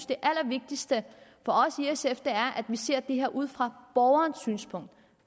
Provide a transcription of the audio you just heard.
det allervigtigste er at vi ser det her ud fra borgerens synspunkt